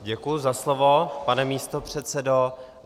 Děkuji za slovo, pane místopředsedo.